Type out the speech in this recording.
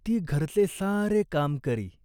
ती घरचे सारे काम करी.